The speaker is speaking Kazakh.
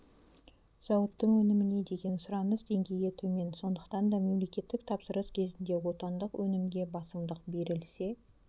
зауыттың өніміне деген сұраныс деңгейі төмен сондықтан да мемлекеттік тапсырыс кезінде отандық өнімге басымдық берілсе